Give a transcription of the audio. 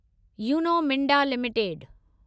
Uno Minda limited